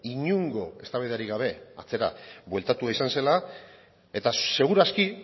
inongo eztabaidarik gabe atzera bueltatua izan zela eta segur aski